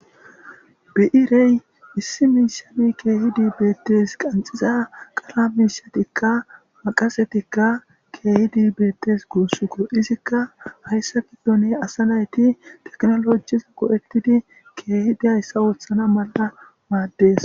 Bii'irey issi miishanni keehidi beettes qanxiza qara miishatikka maaqasetikka keehidi beettes guussukko izikka hayssa bolla asa naytti tekinolojjis goo'ettidi keehidi hayssa oothana malla maaddes